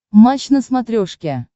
матч на смотрешке